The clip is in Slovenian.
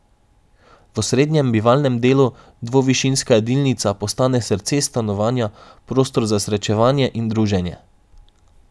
V osrednjem, bivalnem delu, dvovišinska jedilnica postane srce stanovanja, prostor za srečevanje in druženje.